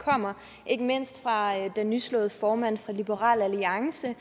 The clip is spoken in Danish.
kommer ikke mindst fra den nyslåede formand for liberal alliance